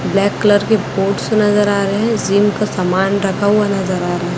Black colour के coats नजर आ रहे हैं जिम का सामान रखा हुआ नजर आ रहा है।